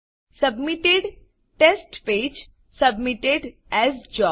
submitted test page submitted as job